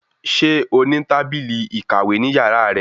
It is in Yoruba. Ṣé o ní tábìlì ìkàwé ní yàrá rẹ?